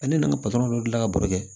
Ale nana dilan ka baro kɛ